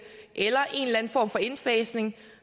eller en eller anden form for indfasning